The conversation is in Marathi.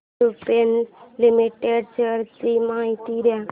लुपिन लिमिटेड शेअर्स ची माहिती दे